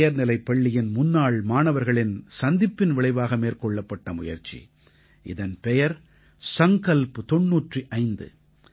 உயர்நிலைப்பள்ளியின் முன்னாள் மாணவர்களின் சந்திப்பின் விளைவாக மேற்கொள்ளப்பட்ட முயற்சி இதன் பெயர் சங்கல்ப் தொண்ணூற்று ஐந்து